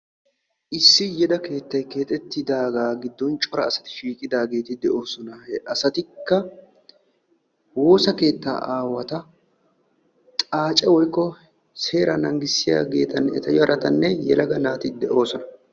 Issi yeda keettay keexetidaaga gidon cora asati shiiqidageetide'oosona he asatika woossa keetta aawata xaacce woykko seera nanggiyagetanne yelaga naati de'oosona.